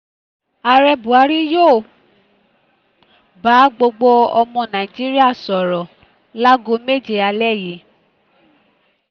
ààrẹ buhari yóò um bá gbogbo ọmọ nàíjíríà sọ̀rọ̀ láago méje alẹ́ yìí um